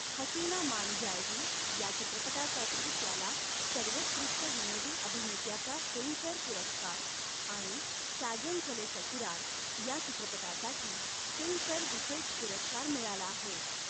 'हसीना मान जाएगी' या चित्रपटासाठी त्याला सर्वोत्कृष्ट विनोदी अभिनेत्याचा फिल्मफेअर पुरस्कार आणि 'साजन चले ससुराल' या चित्रपटासाठी फिल्मफेअर विशेष पुरस्कार मिळाला आहे.